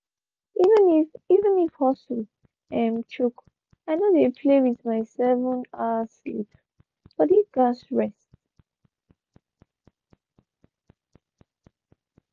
even if even if hustle um choke i no dey play with my seven-hour sleep body gats rest.